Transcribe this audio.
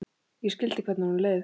Ég skildi hvernig honum leið.